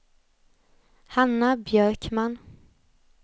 Hanna Björkman